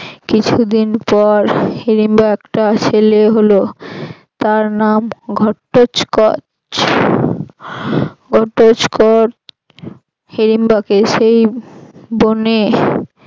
কিছুদিন পর হিড়িম্বর একটা ছেলে হল তার নাম ঘৎটচক ঘৎটচকর হিড়িম্বাকে সেই বনে